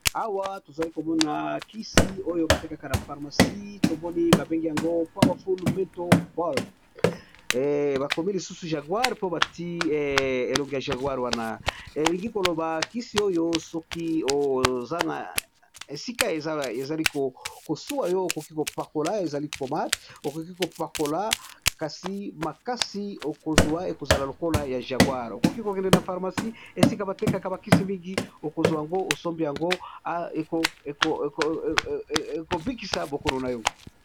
Awa tozali komona bakisi oyo batekaka na pharmacie tomoni babengi yango powerfulle mitobalm, bakomi lisusu jaguar mpo bati elongo ya jaguar wana elingi koloba kisi oyo soki esika ezali kosua yo okoki kopakola, ezali pomade okoki kopakola kasi makasi okozwa ekozala lokola neti ya jaguar, okoki kokende na pharmacie esika batekaka bakisi mingi okozwa yango osombi yango ekobikisa bokono na yo.